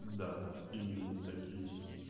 да именно так и есть